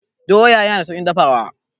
Doya yana da sauƙin dafawa.